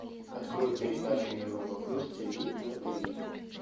открой передачу европа плюс тиви на тиви